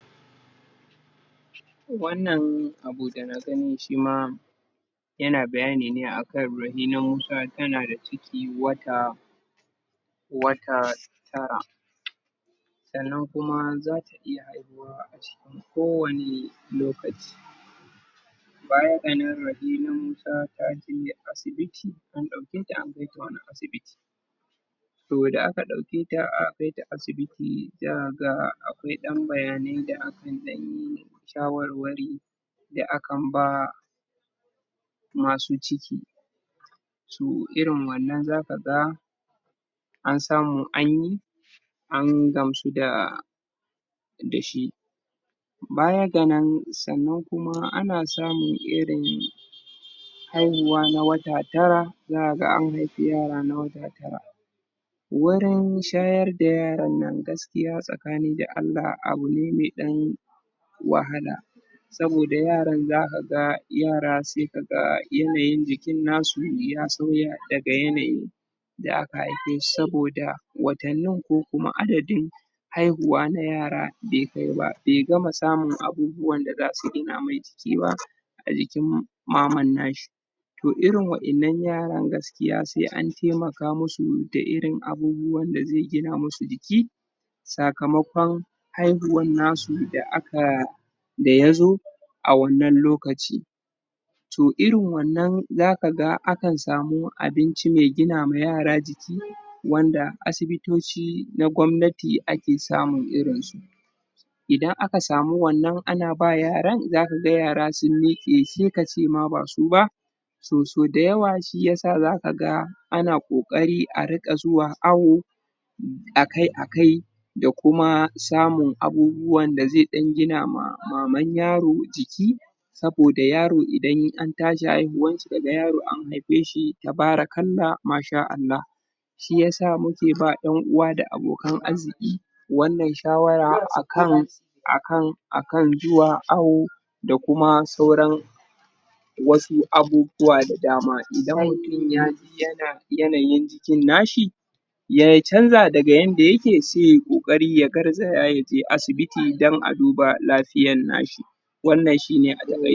Wannan abu daga gani shima yana bayani ne akan Rahina Musa tanada ciki wata wata tara sanan kuma zata iya haihuwa kowane lokaci bayan wanann Rahina taje asibiti an dauke ta an kaita wani asibiti to da aka dauke ta aka kaita sibiti sai akaga akwai dan bayanai da akan dan yi shawarwari da akan bawa Masu ciki to irin wannan zakaga an samu anyi an gamsu da dashi baya ga nan sannan kuma ana samun irin haihuwa na wata tara, zakaga an haifi yara na wata tara wurin shayar da yarannan gaskiya tsakani da Allah abu ne me dan wahala saboda yaran zakaga yara sai kaga yanayin jikin nasu ya sauya daga yanayin da aka haife shi saboda watannin ko kuma adadin haihuwa na ayara bai kai ba, bai gama samun abubuwan da zasu gina mai jiki ba, a jikin maman nashi to irin wa'innan yaran gaskiya sai an taimaka musu da irin abubuwan da zasu gina musu jiki sakamakon haihuwan nasu da aka dayzo a wannan lokaci to irin wannan zakaga akan samu abinci mai gina ma yara jiki, wanda asibitoci na gwamnati ake samun irinsu Idan aka sau wanann ana bawa yaran sai kaga yara sun miqe sai kace ma ba su ba so sau dayawa shiyasa zakaga ana kokari a riqa zuwa awo akai akai da kuma samun abubuwan da zai gina ma maman yaro jiki saboda yaro idan an tashi haihuwarshi kaga an haife shi tabarakallah masha Allah. shiyasa muke ba yan uwa da abokan arziki wannan shawara akan akan zuwa awo da kuma sauran wasu abubuwa da dama, idan mutum yaji yanayin jikin nashi ya canza daga yanda yake, sai yay kokari ya garzaya yaje asibiti dan a duba lafiyan nashi. wanann shine a takaice.